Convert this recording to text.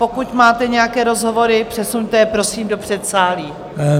Pokud máte nějaké rozhovory, přesuňte je prosím do předsálí.